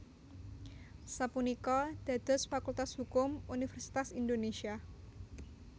sapunika dados Fakultas Hukum Universitas Indonésia